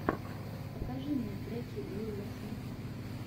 покажи мне треки уилла смита